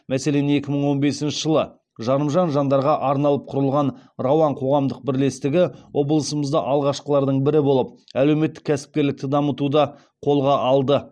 мәселен екі мың он бесінші жылы жарымжан жандарға арналып құрылған рауан қоғамдық бірлестігі облысымызда алғашқылардың бірі болып әлеуметтік кәсіпкерлікті дамытуда қолға алды